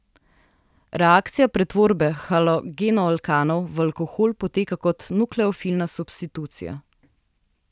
Reakcija pretvorbe halogenoalkanov v alkohole poteka kot nukleofilna substitucija.